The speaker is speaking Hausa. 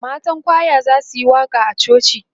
matan kwaya zasuyi waƙa a coci